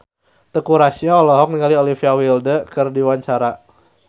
Teuku Rassya olohok ningali Olivia Wilde keur diwawancara